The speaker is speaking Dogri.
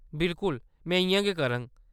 बिलकुल, में इʼयां गै करङ।